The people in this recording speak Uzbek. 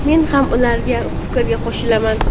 men ham ularning fikriga qo‘shilarman.